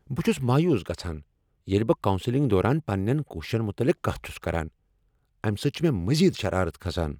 بہٕ چھس مایوس گژھان ییلِہ بہٕ کونسلنگ دوران پننین کوششن متعلق کتھ چھس کران ۔ امہ سۭتۍ چھ مےٚ مزید شرارت کھسان۔